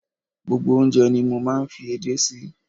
Gbogbo oúnjẹ ni mo máa ń fi ede sí.